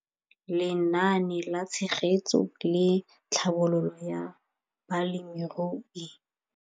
Lenaane la Tshegetso le Tlhabololo ya Balemirui.